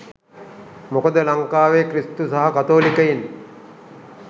මොකද ලංකාවේ ක්‍රිස්තු සහ කතෝලිකයින්